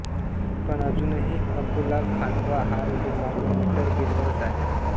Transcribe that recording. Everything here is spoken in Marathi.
पण अजूनही अकोलाखांडवा हा रेल्वेमार्ग मीटर गेजवरच आहे